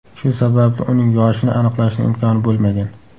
Shu sababli uning yoshini aniqlashning imkoni bo‘lmagan.